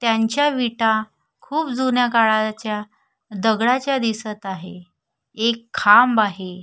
त्यांच्या विटा खुप जुन्या काळाच्या दगडाच्या दिसत आहे एक खांब आहे.